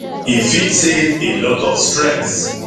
e fit save a lot of stress